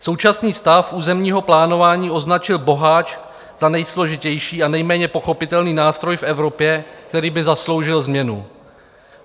Současný stav územního plánování označil Boháč za nejsložitější a nejméně pochopitelný nástroj v Evropě, který by zasloužil změnu.